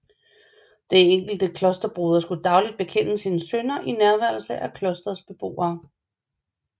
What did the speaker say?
Den enkelte klosterbroder skulle dagligt bekende sine synder i nærværelse af klostrets beboere